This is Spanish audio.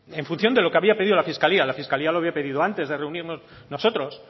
en función de lo que había pedido la fiscalía la fiscalía lo había pedido antes de reunirnos nosotros